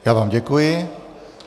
Já vám děkuji.